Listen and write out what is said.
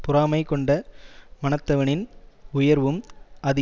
பொறாமை கொண்ட மனத்தவனின் உயர்வும் அது